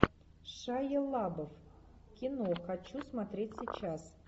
шайа лабаф кино хочу смотреть сейчас